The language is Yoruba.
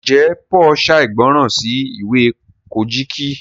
njé Paul ṣàìgbọràn sí ìwé Kojiki?